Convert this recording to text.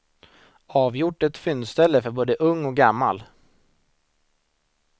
Avgjort ett fyndställe för både ung och gammal.